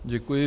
Děkuji.